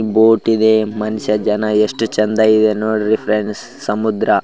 boat ಇದೆ ಮನುಷ್ಯ ಜನ ಯೆಸ್ಟ್ ಚೆಂದ ಇದೆ ನೋಡ್ರಿ ಫ್ರೆಂಡ್ಸ್ ಸಮುದ್ರ --